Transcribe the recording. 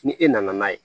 Ni e nana n'a ye